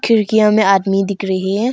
खिड़कियां में आदमी दिख रही है।